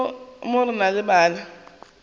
mo re na le bana